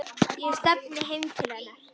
Ég stefni heim til hennar.